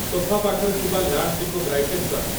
sofa ପାଖରେ ଥିବା ଲ୍ୟାମ୍ପ୍‌ଟିକୁ ବ୍ରାଇଟେନ୍ କର